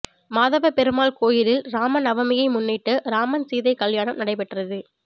மாதவ பெருமாள் கோயிலில் ராம நவமியை முன்னிட்டு ராமன் சீதை கல்யாணம் நடைபெற்றது